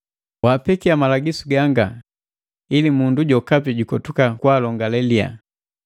Wapekia malagisu ganga, ili mundu jokapi jukotuka kwaalongale liya.